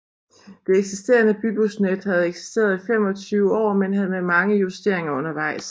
Det eksisterende bybusnet havde eksisteret i 25 år men med mange justeringer undervejs